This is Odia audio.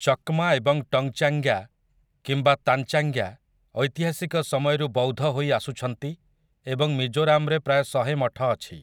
ଚକ୍ମା ଏବଂ ଟଙ୍ଗଚାଙ୍ଗ୍ୟା କିମ୍ବା ତାନଚାଙ୍ଗ୍ୟା ଐତିହାସିକ ସମୟରୁ ବୌଦ୍ଧ ହୋଇ ଆସୁଛନ୍ତି ଏବଂ ମିଜୋରାମରେ ପ୍ରାୟ ଶହେ ମଠ ଅଛି ।